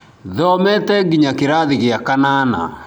Thomete nginya kĩrathi gĩa kanana.